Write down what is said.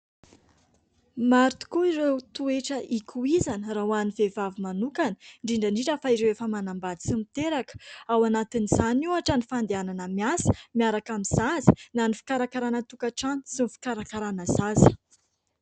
Maro tokoa ireo toetra ikoizana raha ho an'ny vehivavy manokana indrindra indrindra fa ireo efa manambady sy miteraka. Ao anatin'izany ohatra ny fandehanana miasa miaraka amin'ny zaza na ny fikarakarana tokatrano sy ny fikarakarana zaza.